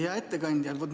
Hea ettekandja!